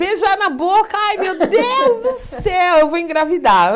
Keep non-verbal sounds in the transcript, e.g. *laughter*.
Beijar na boca, ai meu *laughs* Deus do céu, eu vou engravidar.